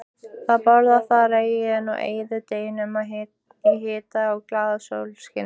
Þau borða þar og eyða deginum í hita og glaðasólskini.